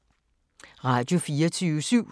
Radio24syv